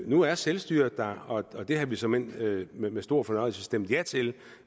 nu er selvstyret der og det havde vi såmænd med med stor fornøjelse stemt ja til